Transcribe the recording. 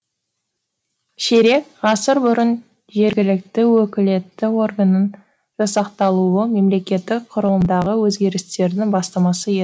ширек ғасыр бұрын жергілікті өкілетті органның жасақталуы мемлекеттік құрылымдағы өзгерістердің бастамасы еді